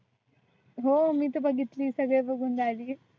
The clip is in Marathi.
हो मी तर बघितली सगळी बघुन झाली.